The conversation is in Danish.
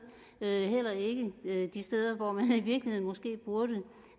heller ikke de steder hvor man måske i virkeligheden burde